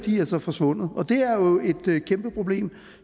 altså forsvundet og det er jo et kæmpe problem